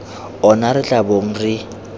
ona re tla bong re